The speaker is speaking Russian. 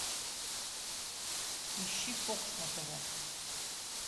ищи фокс на тв